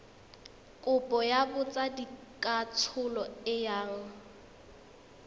kopo ya botsadikatsholo e yang